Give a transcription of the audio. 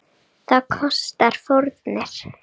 Það kostar fórnir.